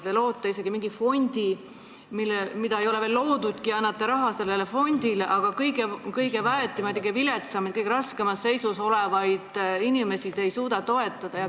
Te annate raha isegi mingile fondile, mida ei ole veel loodudki, aga kõige väetimaid, kõige viletsamaid, kõige raskemas seisus olevaid inimesi te nagu ei suuda toetada.